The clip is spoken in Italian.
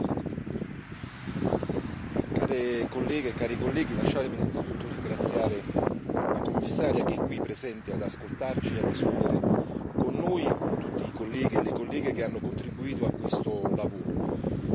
Signora Presidente, onorevoli colleghe e colleghi, lasciatemi innanzitutto ringraziare la Commissaria che è qui presente ad ascoltarci e a discutere con noi e con tutti i colleghi e le colleghe che hanno contribuito a questo lavoro